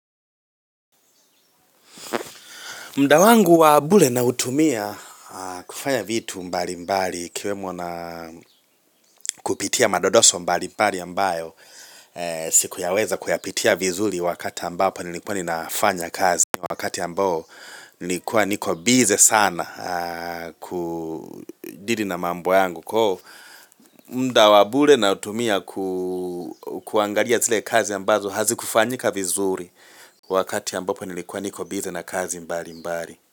Muda wangu wa bure nautumia kufanya vitu mbali mbali ikiwemo na kupitia madodoso mbali mbali ambayo sikuyaweza kuyapitia vizuri wakati ambapo nilikuwa ninafanya kazi, wakati ambao nilikuwa niko bize sana kudeal na mambo yangu muda wa bure nautumia kuangalia zile kazi ambazo hazikufanyika vizuri wakati ambapo nilikuwa niko bize na kazi mbali mbali.